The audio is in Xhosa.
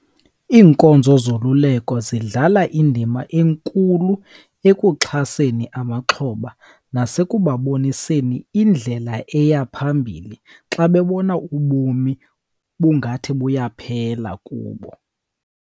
Iinkonzo zoluleko zidlala indima enkulu ekuxhaseni amaxhoba nasekubaboniseni indlela eya phambili xa bebona ubomi bungathi buyaphela kubo.